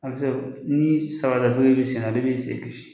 A ni samara datugulen b'i sen na o de b'i sen kisi